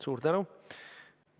Suur tänu!